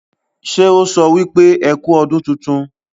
ṣe ọ so wípé ẹkú ọdún títún?